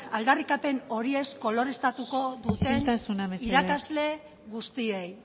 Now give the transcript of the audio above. aldarrikapen horiez koloreztatuko duen irakasle guztiei